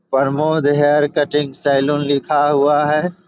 Pramod hair cutting salon लिखा हुआ है।